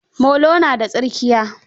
Molo na da tsirkiya.